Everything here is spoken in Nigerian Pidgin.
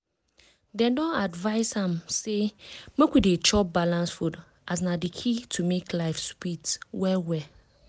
dem don advice am say make we dey chop balanced food as na di key to make life sweet well well.